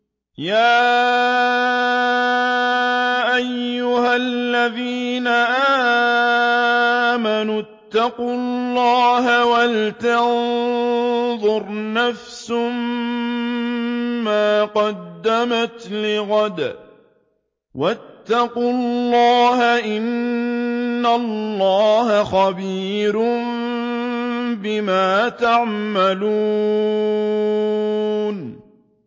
يَا أَيُّهَا الَّذِينَ آمَنُوا اتَّقُوا اللَّهَ وَلْتَنظُرْ نَفْسٌ مَّا قَدَّمَتْ لِغَدٍ ۖ وَاتَّقُوا اللَّهَ ۚ إِنَّ اللَّهَ خَبِيرٌ بِمَا تَعْمَلُونَ